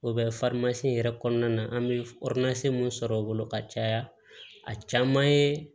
O bɛ in yɛrɛ kɔnɔna na an bɛ min sɔrɔ o bolo ka caya a caman ye